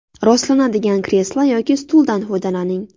Rostlanadigan kreslo yoki stuldan foydalaning.